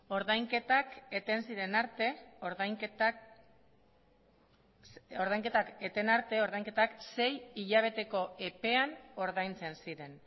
ordainketak eten ziren arte ordainketak sei hilabeteko epean ordaintzen ziren